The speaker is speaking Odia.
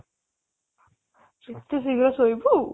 ଏତେ ଶୀଘ୍ର ଶୋଇବୁ